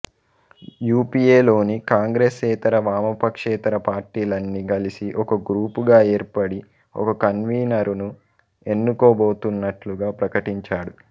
U P A లోని కాంగ్రెసేతర వామపక్షేతర పార్టీలన్నీ కలిసి ఒక గ్రూపుగా ఏర్పడి ఒక కన్వీనరును ఎనుకోబోతున్నట్లుగా ప్రకటించాడు